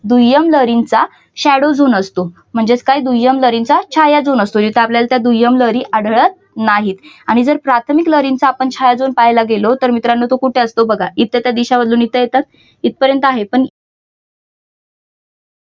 दुय्यम लहरींचा shadow zone असतो म्हणजेच काय दुय्यम लहरींचा छाया झोन असतो जिथे आपल्याला दुय्यम लहरी आढळत नाहीत. आणि जर प्राथमिक लहरींचा आपण छाया झोन पाहायला गेलो तर मित्रानो तो कुठे असतो बघा. इथं त्या दिशा इथं येतात. इथपर्यंत आहे.